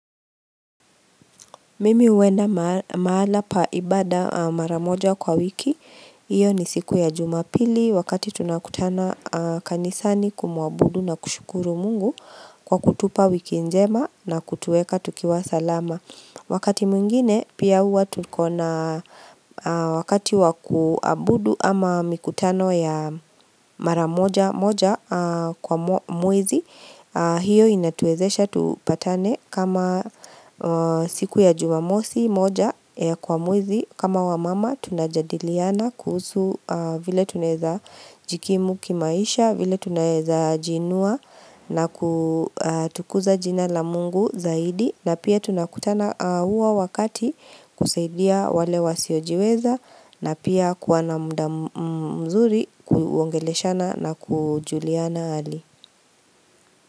Mimi huenda mahala pa ibada mara moja kwa wiki, hiyo ni siku ya jumapili wakati tunakutana kanisani kumuabudu na kushukuru Mungu kwa kutupa wiki njema na kutuweka tukiwa salama. Wakati mwingine pia huwa tuko na wakati wa kuabudu ama mikutano ya mara moja moja kwa mwezi Hio inatuwezesha tupatane kama siku ya jumamosi moja kwa mwezi. Kama wamama tunajadiliana kuhusu vile tunaezajikimu kimaisha, vile tunaezajiinua na kutukuza jina la Mungu zaidi na pia tunakutana huwa wakati. Kusaidia wale wasiojiweza na pia kuwa na muda mzuri kuongeleshana na kujuliana hali.